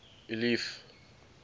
eliff